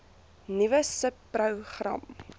nuwe subpro gram